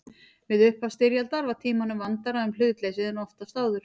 Við upphaf styrjaldar var Tímanum vandara um hlutleysið en oftast áður.